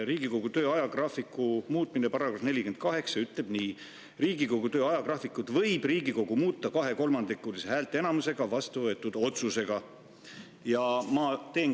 Riigikogu töö ajagraafiku muutmise kohta ütleb § 48 nii: "Riigikogu töö ajagraafikut võib Riigikogu muuta kahekolmandikulise häälteenamusega vastuvõetud otsusega.